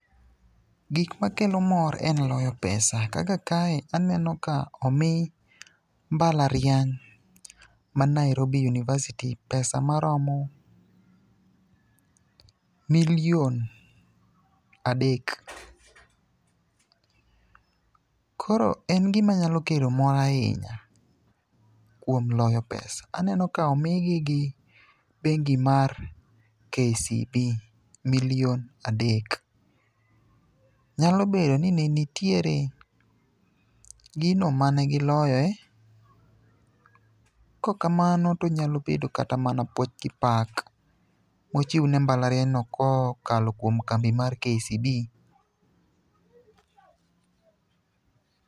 Gik makelo mor en loyo pesa kaka kae aneno ka omi mbalariany ma Nairobi university pesa maromo milion adek. Koro en gimanyalo kelo mor ahinya kuom loyo pesa. Aneno ka omigi gi bengi mar KCB milion adek. Nyalo bedo ni ne nitiere gino mane giloyoe, kokamano tonyalo bedo kata mana puoch gi pak mochiw ne mbalarianyno kokalo kuom kambi mar KCB.